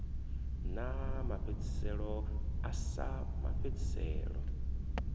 na mafhedziselo a sa mafhedziselo